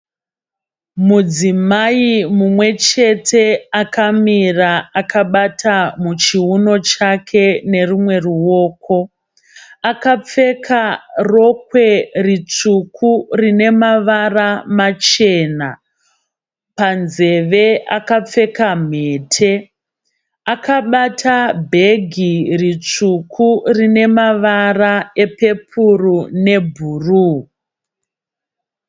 Mudzimai mumwe chete akamira akabata muchiuno chake nerumwe ruoko. Akapfeka rokwe ritsvuku rinemavara machena. Panzveve akapfeka mhete. Akabata bhegi ritsvuku rinemavara epepuru nebhuruu.